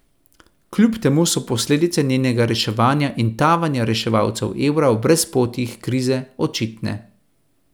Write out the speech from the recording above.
Kljub temu so posledice njenega reševanja in tavanja reševalcev evra v brezpotjih krize očitne.